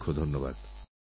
অনেকঅনেক ধন্যবাদ